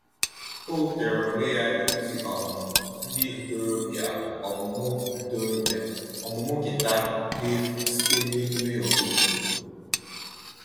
O wepụtara onwe ya ịkụzi um ndị ntorobịa ọmụmụ ntorobịa ọmụmụ gịta n'efu site n'emume ọhaobodo.